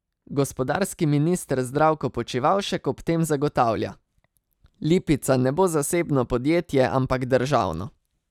Gospodarski minister Zdravko Počivalšek ob tem zagotavlja: "Lipica ne bo zasebno podjetje, ampak državno.